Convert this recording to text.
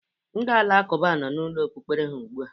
Ndị alakụba nọ n'ụlọ okpukpere ha ugbu a.